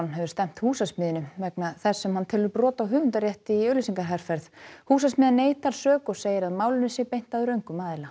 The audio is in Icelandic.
hefur stefnt Húsasmiðjunni vegna þess sem hann telur brot á höfundarétti í auglýsingaherferð Húsasmiðjan neitar sök og segir að málinu sé beint að röngum aðila